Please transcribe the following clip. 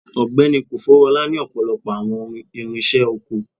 Ọgbẹni kofoworola ni ọpọlọpọ awọn irinṣẹ oko